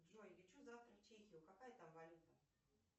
джой лечу завтра в чехию какая там валюта